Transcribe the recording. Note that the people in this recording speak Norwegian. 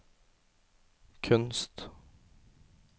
kunst